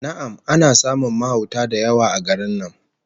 Na'am, ana samun mahauta da yawa a garin nan